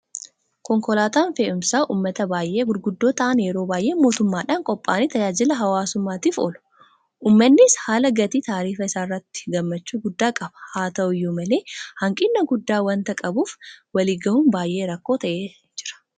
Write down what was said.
Konkolaataan fe'insa uummataa baay'ee gurguddoo ta'an yeroo baay'ee mootummaadhan qophaa'anii tajaajila hawaasummaatiif oolu. Uummannis haala gatii taarifa isaa irratti gammachuu guddaa qaba. Hata'u iyyuu malee hanqina guddaa waanta qabuuf waliin gahuun baay'ee rakkoo ta'ee jira.